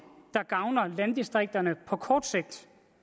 der gavner landdistrikterne på kort sigt